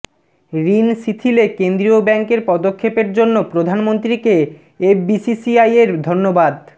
ঋণ শিথিলে কেন্দ্রীয় ব্যাংকের পদক্ষেপের জন্য প্রধানমন্ত্রীকে এফবিসিসিআইয়ের ধন্যবাদ